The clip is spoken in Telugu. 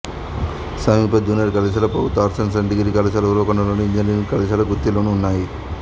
సమీప జూనియర్ కళాశాల ప్రభుత్వ ఆర్ట్స్ సైన్స్ డిగ్రీ కళాశాల ఉరవకొండలోను ఇంజనీరింగ్ కళాశాల గుత్తిలోనూ ఉన్నాయి